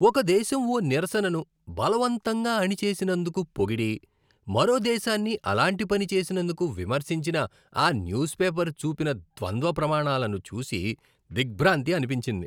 ఒక దేశం ఓ నిరసనను బలవంతంగా అణిచేసినందుకు పొగిడి, మరో దేశాన్ని అలాంటి పని చేసినందుకు విమర్శించిన ఆ న్యూస్ పేపర్ చూపిన ద్వంద్వ ప్రమాణాలను చూసి దిగ్భ్రాంతి అనిపించింది .